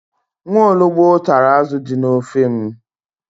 Nwaologbo tara azụ dị n'ofe m.